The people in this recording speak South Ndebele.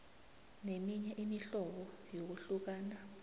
neminye imihlobo yokuhlukana